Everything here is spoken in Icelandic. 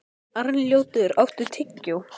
Arnljótur, áttu tyggjó?